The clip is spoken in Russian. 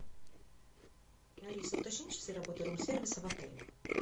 алиса уточни часы работы рум сервиса в отеле